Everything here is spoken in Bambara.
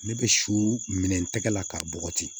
Ne bɛ su minɛn tɛgɛ la k'a bɔgɔti